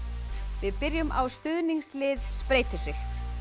við byrjum á stuðningslið spreytir sig